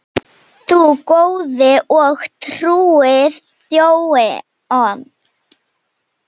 Þú góði og trúi þjónn.